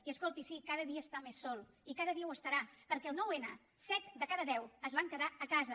i escolti sí cada dia està més sol i cada ho estarà perquè el nou n set de cada deu es van quedar a casa